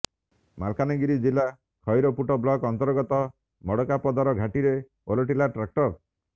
ମାଲକାନଗିରି ଜିଲ୍ଲା ଖଇରପୁଟ ବ୍ଳକ୍ ଅନ୍ତର୍ଗତ ମାଡକାପଦର ଘାଟିରେ ଓଲଟିଲା ଟ୍ରାକ୍ଟର